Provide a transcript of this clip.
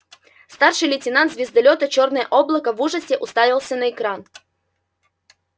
старший лейтенант звездолёта чёрное облако в ужасе уставился на экран